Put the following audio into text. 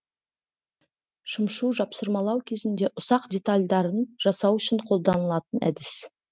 шымшу жапсырмалау кезінде ұсақ детальдарын жасау үшін қолданылатын әдіс